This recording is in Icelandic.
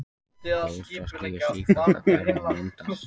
Bólstraský eru sífellt að hverfa og myndast.